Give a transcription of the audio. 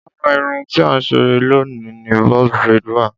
lára irun tí à ń ṣe loni ni box braid wa.